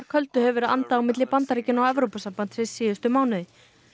köldu hefur andað á milli Bandaríkjanna og Evrópusambandsins síðustu mánuði